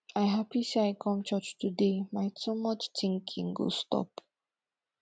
i happy say i come church today my too much thinking go stop